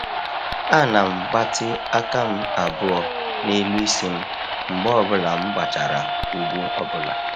A na m gbatị aka m abụọ n'elu isi m mgbe ọ bụla m gbachara ugwu ọbụla.